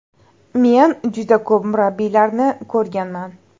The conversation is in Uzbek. Men juda ko‘p murabbiylarni ko‘rganman.